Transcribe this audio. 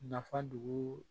Nafa dugu